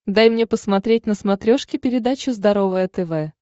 дай мне посмотреть на смотрешке передачу здоровое тв